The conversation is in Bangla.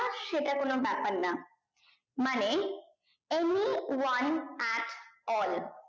সেটা কোনো ব্যাপার না মানে any one at all